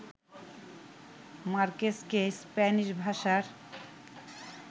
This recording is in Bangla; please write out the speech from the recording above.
মার্কেজকে স্প্যানিশভাষার